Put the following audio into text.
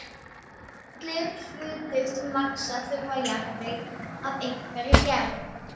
Því allir hlutir sem vaxa þurfa jarðveg af einhverri gerð.